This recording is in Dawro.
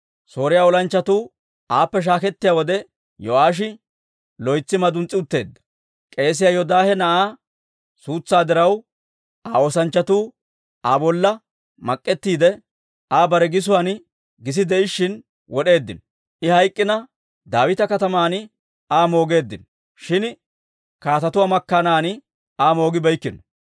Sooriyaa olanchchatuu aappe shaakettiyaa wode, Yo'aashi loytsi maduns's'i utteedda. K'eesiyaa Yoodaahe na'aa suutsaa diraw, Aa oosanchchatuu Aa bolla mak'ettiide, I bare gisuwaan gisi de'ishshin wod'eeddino. I hayk'k'ina, Daawita Kataman Aa moogeeddino; shin kaatetuwaa makkaanan Aa moogibeykkino.